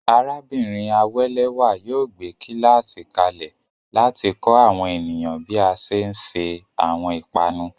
Arábìnrin Awelewa yóò gbé kíláàsì kalẹ̀ láti kọ́ àwọn ènìyàn bí a ṣe ń se àwọn ìpanu.